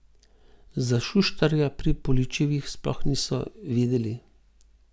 Za Šuštarja pri Poličevih sploh niso vedeli.